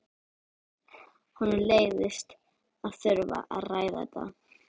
Honum leiðist að þurfa að ræða þetta.